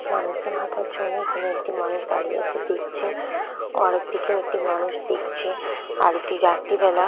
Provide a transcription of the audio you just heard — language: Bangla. মানুষজন জন্যই এখানে একটি মানুষ দাঁড়িয়ে আছে দেখছে আরেকদিকে একটি মানুষ দেখছে আর এটি রাত্রিবেলা।